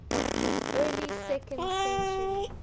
early second century